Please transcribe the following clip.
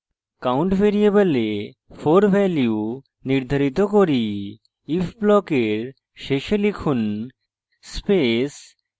count ভ্যারিয়েবলে 4 value নির্ধারিত করি if ব্লকের শেষে লিখুন space